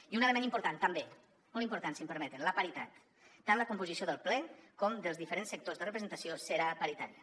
i un element important també molt important si m’ho permeten la paritat tant la composició del ple com la dels diferents sectors de representació serà paritària